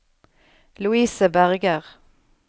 Louise Berger